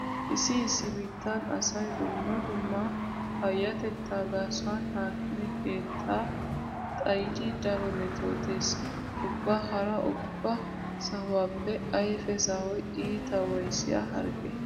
Issi issi biittan asay dumma dumma payyatettaa gaasuwan aakime keettaa xayidi daro metootees. Ubba hara ubba sahuwaappe ayfee sahoy iita waayissiya hargge.